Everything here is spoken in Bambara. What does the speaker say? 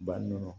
Bannɔgɔ